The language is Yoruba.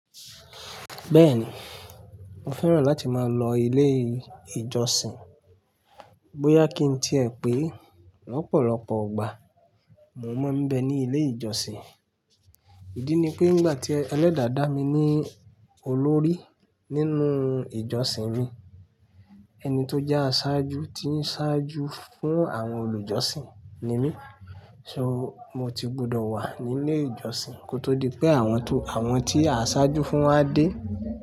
Bẹ́ẹ̀ni, mo fẹ́ràn láti máa lọ ilé ìjọsìn. Bóyá kí n tì ẹ pé lọ́pọ̀lọpọ̀ ìgbà mo mọ̀ bẹ ní ilé ìjọsìn. Ìdí ni pé nígbà tí ẹlẹ́dàá dá mi ní olórí nínú ìjọsìn mii ẹni tó jẹ́ aṣáju tí ń ṣáju fún àwọn olùjọsìn nímí. So mo ti gbọdọ̀ wà ní ilé ìjọsìn kó tó di pé àwọn tó, àwọn tí aa ṣáájú fún wa dé.